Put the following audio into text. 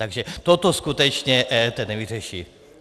Takže toto skutečně EET nevyřeší.